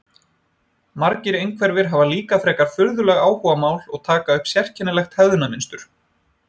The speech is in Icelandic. Margir einhverfir hafa líka frekar furðuleg áhugamál og taka upp sérkennilegt hegðunarmynstur.